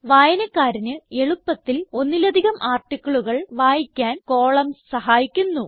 വായനക്കാരന് എളുപ്പത്തിൽ ഒന്നിലധികം articleകൾ വായിക്കാൻ കോളംൻസ് സഹായിക്കുന്നു